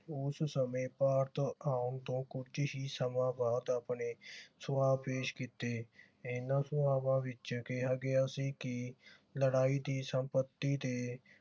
ਉਸ ਸਮੇਂ ਭਾਰਤ ਆਮ ਤੋਂ ਕੁਛ ਹੀ ਸਮਾਂ ਬਾਅਦ ਆਪਣੇ ਪੇਸ਼ ਕੀਤੇ ਇਨ੍ਹਾਂ ਵਿਚ ਕਿਹਾ ਗਿਆ ਸੀ ਕਿ ਲੜਾਈ ਦੀ ਸੰਪਤੀ ਤੇ